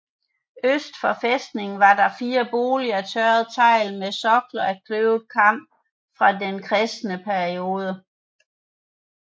Øst for fæstningen var der fire boliger af tørret tegl med sokler af kløvet kamp fra den kristne periode